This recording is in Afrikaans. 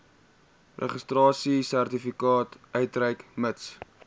registrasiesertifikaat uitreik mits